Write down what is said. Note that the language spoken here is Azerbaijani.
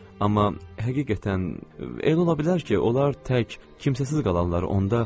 Amma həqiqətən, elə ola bilər ki, onlar tək, kimsəsiz qalanlar.